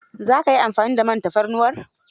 Za ka yi amfani da man tafarnuwar?